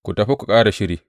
Ku tafi ku ƙara shiri.